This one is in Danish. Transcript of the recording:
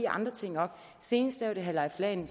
andre ting op senest var det herre leif lahn